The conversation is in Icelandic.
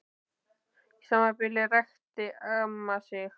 Í sama bili ræskti amma sig.